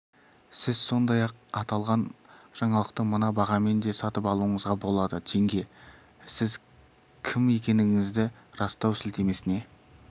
сіз сондай-ақ аталған жаңалықты мына бағамен де сатып алуыңызға болады теңге сіз кім екендігіңізді растау сілтемесіне